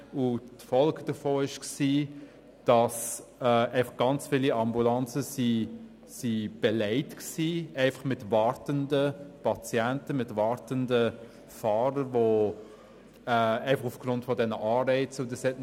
Die Folge davon war, dass sehr viele Ambulanzen mit wartenden Patienten und Fahrern belegt waren.